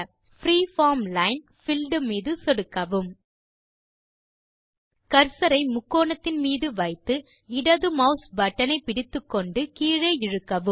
preform line build மீது சொடுக்கவும் cursor ஐ முக்கோணத்தின் மீது வைத்து இடது மாஸ் பட்டன் ஐ பிடித்துக்கொண்டு கீழே இழுக்கவும்